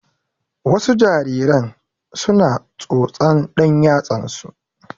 Wasu jariran su na tsotsan ɗan yatsan su